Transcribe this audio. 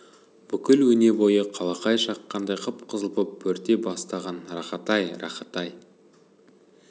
бүкіл өне-бойы қалақай шаққандай қып-қызыл боп бөрте бастаған рахат-ай рахат-ай